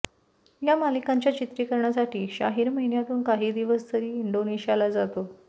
या मालिकांच्या चित्रीकरणासाठी शाहीर महिन्यातून काही दिवस तरी इंडोनिशाला जातो